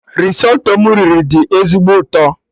Risotto m riri dị ezigbo ụtọ